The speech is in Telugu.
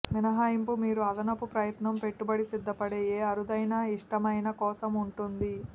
మినహాయింపు మీరు అదనపు ప్రయత్నం పెట్టుబడి సిద్ధపడే ఏ అరుదైన ఇష్టమైన కోసం ఉంటుంది